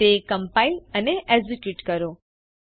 તે કમ્પાઇલ અને એકઝીક્યુટ કરો